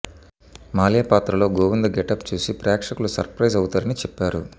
మాల్యా పాత్రలో గోవింద గెటప్ చూసి ప్రేక్షకులు సర్ ప్రైజ్ అవుతారని చెప్పారు